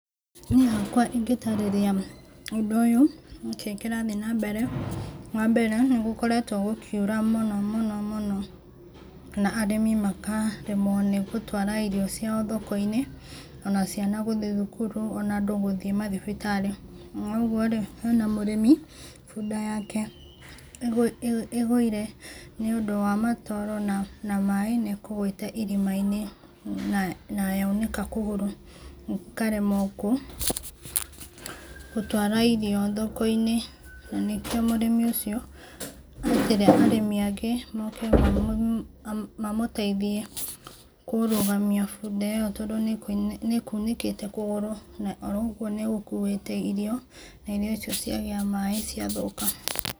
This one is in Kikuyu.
Niĩ hakwa ingĩtarĩria ũndũ ũyũ nĩ kĩ kĩrathiĩ na mbere, wa mbere nĩ gũkoretwo gũkiura mũno mũno na arĩmi makaremwo nĩ gũtwara irio cia thoko-inĩ ona ciana gũthiĩ thukuru ona andũ gũthiĩ mathibitarĩ, na ũguo rĩ hena mũrĩmi bunda yake ĩgũire nĩ ũndũ wa matoro na maĩ nĩ ĩkũgwĩte irima-inĩ na yaunĩka kũgũra ĩkaremwo gũtwara irio thoko-inĩ na nĩkĩo mũrĩmi ũcio etire arĩmi angĩ moke mamũteithie kũrũgamia bunda ĩyo tondũ nĩ kunĩkĩte kũgũrũ na ũguo nĩ gũkuĩte irio na irio icio ciagĩa maĩ cia thũka.